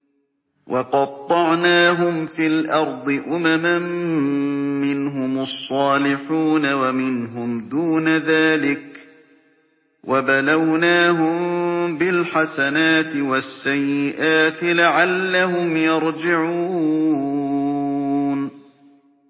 وَقَطَّعْنَاهُمْ فِي الْأَرْضِ أُمَمًا ۖ مِّنْهُمُ الصَّالِحُونَ وَمِنْهُمْ دُونَ ذَٰلِكَ ۖ وَبَلَوْنَاهُم بِالْحَسَنَاتِ وَالسَّيِّئَاتِ لَعَلَّهُمْ يَرْجِعُونَ